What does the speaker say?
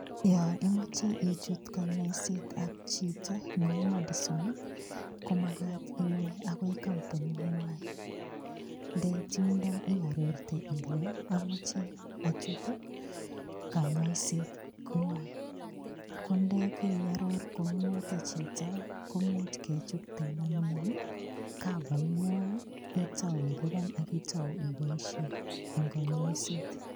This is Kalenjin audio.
Yo imoche ichut konyoisetab chito neu madison, komagat iwe agoi kambuningwai. Ndeit yundo iarorte ile amache achut kanyoisetngwai. Kondekeiaror kou noto chito komuch kechokten anyun ii kavaingwai, itau ilupan ak itau iboisien eng konyoiset.